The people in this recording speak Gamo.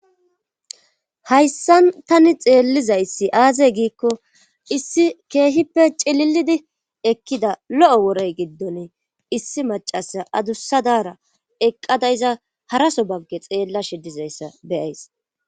Hayssan tani xeellizayssi aazey giikko issi keehippe cililidi ekkida lo7o worey giddone issi macasa adussadara eqqada iza haraso bagge xeella shidizayssa beyays.